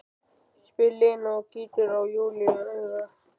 spyr Lena og gýtur á Júlíu auga.